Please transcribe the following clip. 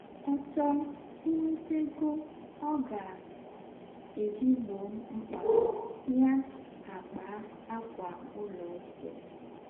Ọ chọọ inweta egọ ọ ga - eji gbọọ mkpa ya, ya akpaa ákwà ụlọikwụụ.